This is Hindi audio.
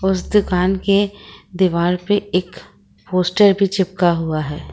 उसे दुकान के दीवार पर एक पोस्ट भी चिपका हुआ है।